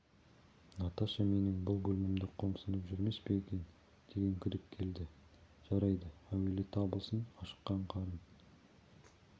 наташа менің бұл бөлмемді қомсынып жүрмес пе екен деген күдік келді жарайды әуелі табылсын ашыққан қарын